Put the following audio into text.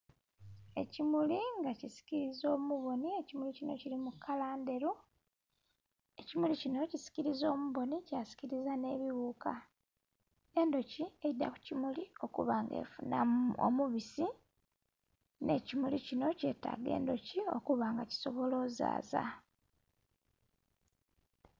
Ekimuli nga kisikiliza omubonhi, ekimuli kino kiri mu kala endheru. Ekimuli kino kisikiliza omubonhi kyasikiliza n'ebiwuka. Endhuki eidha ku kimuli okuba nga efunhamu omubisi n'ekimuli kino kyetaga endhuki okuba nga kisobola ozaaza.